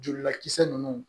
Jolilakisɛ ninnu